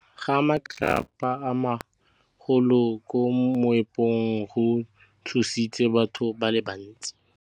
Go wa ga matlapa a magolo ko moepong go tshositse batho ba le bantsi.